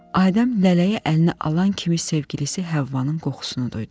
Adəm lələyi əlinə alan kimi sevgilisi Həvvanın qoxusunu duydu.